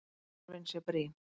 Þörfin sé brýn.